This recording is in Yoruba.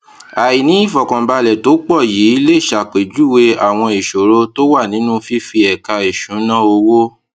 àìní ìfọkànbalẹ tó pò yìí lè ṣàpèjúwe àwọn ìṣòro tó wà nínú fífi ẹka ìṣúnná owó